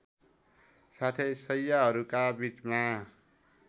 साथै शैय्याहरूका बीचमा